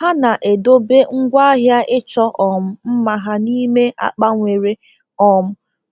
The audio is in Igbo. Ha na-edobe ngwaahịa ịchọ um mma ha n’ime akpa nwere um